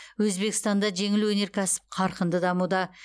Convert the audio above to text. өзбекстанда жеңіл өнеркәсіп қарқынды дамуда